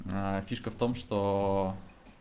фишка в том что